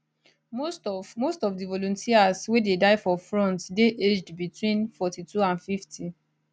most of most of di volunteers wey dey die for front dey aged between 42 and 50